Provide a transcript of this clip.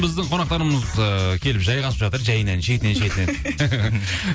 біздің қонақтарымыз ыыы келіп жайғасып жатыр жайынан шетінен шетінен